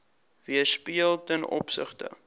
weerspieël ten opsigte